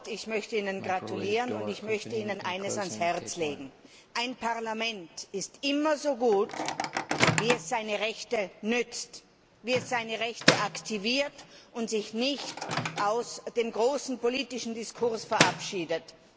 Ich möchte Ihnen gratulieren, und ich möchte Ihnen eines ans Herz legen Ein Parlament ist immer so gut, wie es seine Rechte nützt, wie es seine Rechte aktiviert und wie es sich nicht aus dem großen politischen Diskurs verabschiedet.